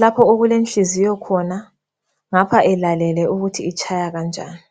lapho okulenhliziyo khona ngapha elalele ukuthi itshaya kanjani.